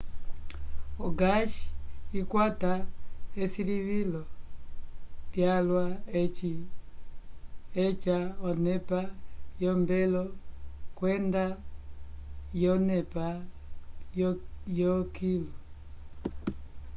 o gás ikwata esilivilo lyalwa eci oca onepa yombwelo okwenda k'onepa yokilu